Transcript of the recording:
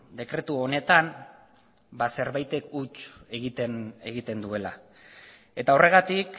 dekretu honetan ba zerbaitek huts egiten duela eta horregatik